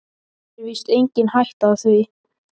Það er víst engin hætta á því.